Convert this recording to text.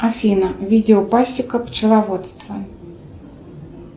афина видео пасека пчеловодство